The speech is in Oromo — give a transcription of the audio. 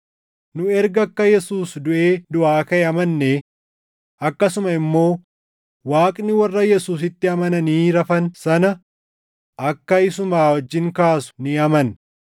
Nu erga akka Yesuus duʼee duʼaa kaʼe amannee akkasuma immoo Waaqni warra Yesuusitti amananii rafan sana akka isuma wajjin kaasu ni amanna.